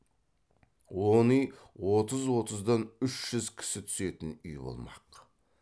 он үй отыз отыздан үш жүз кісі түсетін үй болмақ